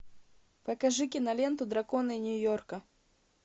покажи киноленту драконы нью йорка